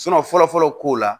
fɔlɔ fɔlɔ ko la